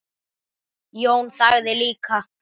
Jón þagði líka.